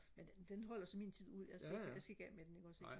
men den den holder så min tid ud altså jeg skal ikke af med den ikke også ikke